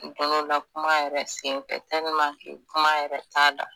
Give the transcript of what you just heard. Don dɔ la kuma yɛrɛ sen fɛ tɛliman ke kuma yɛrɛ t'a da